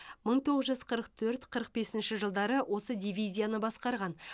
мың тоғыз жүз қырық төрт қырық бесінші жылдары осы дивизияны басқарған